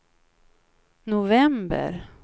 november